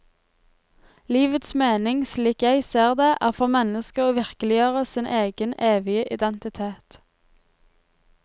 Livets mening, slik jeg ser det, er for mennesket å virkeliggjøre sin egen evige identitet.